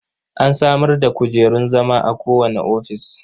An samar da kujerun zama a kowane ofis.